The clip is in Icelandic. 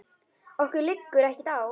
Okkur liggur ekkert á